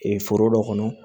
foro dɔ kɔnɔ